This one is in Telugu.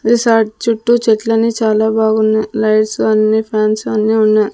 రిసార్ట్ చుట్టూ చెట్లన్నీ చాలా బాగున్నాయి లైట్స్ అన్ని ఫాన్స్ అన్ని ఉన్నాయి.